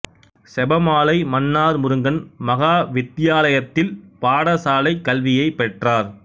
செபமாலை மன்னார் முருங்கன் மகா வித்தியாலயத்தில் பாடசாலைக் கல்வியைப் பெற்றார்